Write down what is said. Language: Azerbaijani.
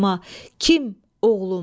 Kim oğlum?